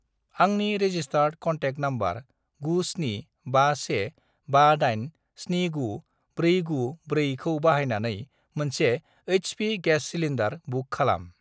आंनि registered contact number 97515879494 खौ बाहायनानै मोनसे एइच.पि. गेस सिलिन्दार बुक खालाम।